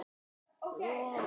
Fyrir á Hannes Jón Gunnar.